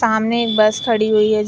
सामने एक बस खड़ी हुई हैं।